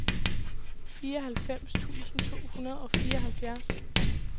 fireoghalvfems tusind to hundrede og fireoghalvfjerds